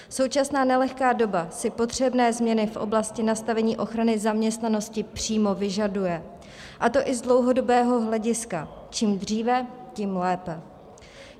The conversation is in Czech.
Současná nelehká doba si potřebné změny v oblasti nastavení ochrany zaměstnanosti přímo vyžaduje, a to i z dlouhodobého hlediska - čím dříve, tím lépe.